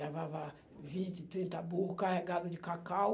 Levava vinte, trinta burro carregado de cacau.